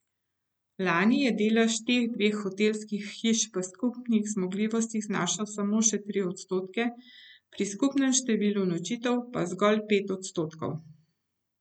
Lani je delež teh dveh hotelskih hiš v skupnih zmogljivostih znašal samo še tri odstotke, pri skupnem številu nočitev pa zgolj pet odstotkov.